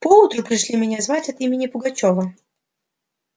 поутру пришли меня звать от имени пугачёва